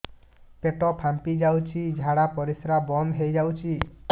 ପେଟ ଫାମ୍ପି ଯାଉଛି ଝାଡା ପରିଶ୍ରା ବନ୍ଦ ହେଇ ଯାଉଛି